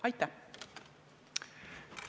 Aitäh!